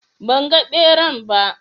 Ban ga ɓeran ba